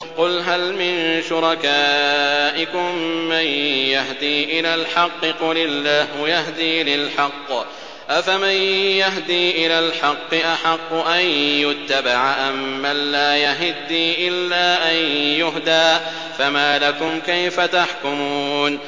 قُلْ هَلْ مِن شُرَكَائِكُم مَّن يَهْدِي إِلَى الْحَقِّ ۚ قُلِ اللَّهُ يَهْدِي لِلْحَقِّ ۗ أَفَمَن يَهْدِي إِلَى الْحَقِّ أَحَقُّ أَن يُتَّبَعَ أَمَّن لَّا يَهِدِّي إِلَّا أَن يُهْدَىٰ ۖ فَمَا لَكُمْ كَيْفَ تَحْكُمُونَ